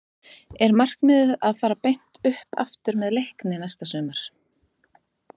Er markmiðið að fara beint upp aftur með Leikni næsta sumar?